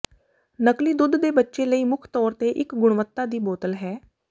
ਨਕਲੀ ਦੁੱਧ ਤੇ ਬੱਚੇ ਲਈ ਮੁੱਖ ਤੌਰ ਤੇ ਇੱਕ ਗੁਣਵੱਤਾ ਦੀ ਬੋਤਲ ਹੈ